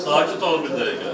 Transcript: Sakit ol bir dəqiqə.